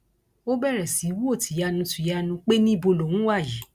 ó bẹrẹ sí í wò tìyanu tìyanu pé níbo lòun wà yìí